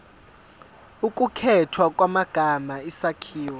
ukukhethwa kwamagama isakhiwo